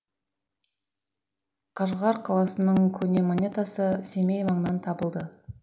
қажғар қаласының көне монетасы семей маңынан табылды